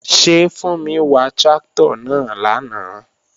Ṣé Fúnmi wà tráktọ̀ náà lánàá?